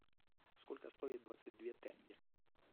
сколько стоит двадцать две тенге